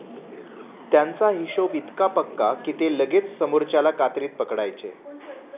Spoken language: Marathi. त्यांचा हिशोभ इतका पक्का की ते लगेच समोरच्याला कात्रीत पकडायचे.